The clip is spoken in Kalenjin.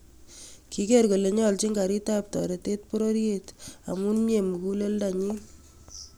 Kigeer kole nyolchin karitap toreteet pororyeet amun myee muguleldanyin